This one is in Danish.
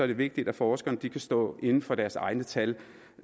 det vigtigt at forskerne kan stå inde for deres egne tal